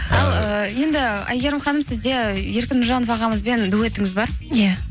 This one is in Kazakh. енді әйгерім ханым сізде еркін нұржанов ағамызбен дуэтіңіз бар иә